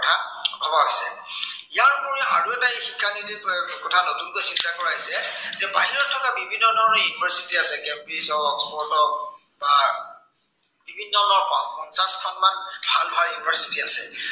ইয়াৰ পৰা আৰু এটা শিক্ষা নীতিৰ প্ৰয়োগৰ কথা নতুনকৈ চিন্তা কৰা হৈছে যে, বাহিৰত থকা বিভিন্ন ধৰনৰ university আছে, কেম্ব্ৰিজ হওক, অক্সফৰ্ড হওক বা বিভিন্ন ধৰনৰ পঞ্চাশখনমান ভাল ভাল university আছে